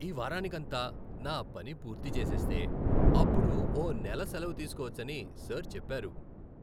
ఈ వారానికంతా నా పని పూర్తి చేసేస్తే అప్పుడు ఓ నెల సెలవు తీసుకోవచ్చని సర్ చెప్పారు!